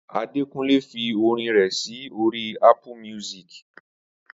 Adekunle fi orin rẹ̀ sí orí Ápù míúsìkì